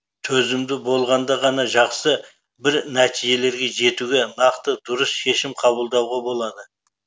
төзімді болғанда ғана жақсы бір нәтижелерге жетуге нақты дұрыс шешем қабылдауға болады